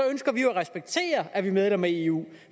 ønsker vi jo at respektere at danmark er medlem af eu